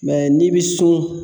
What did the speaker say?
Mɛ n'i bi sun.